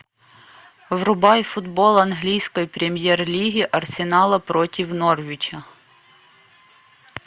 врубай футбол английской премьер лиги арсенала против норвича